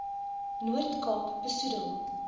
noord kaap besoedel